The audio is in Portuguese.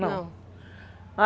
Não.